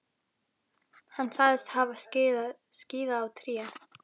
Hann sagðist hafa skíðað á tré.